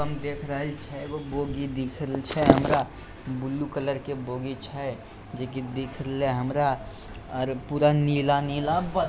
हम देख रहल छै एगो बोगी दिख रहल छै हमरा ब्लू कलर के बोगी छै जे की दिख रहले ये हमरा लेकिन देख ले हमरा और पूरा नीला नीला----